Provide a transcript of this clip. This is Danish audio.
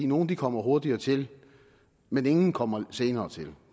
nogle kommer hurtigere til men ingen kommer senere til